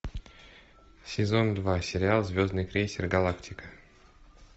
сезон два сериал звездный крейсер галактика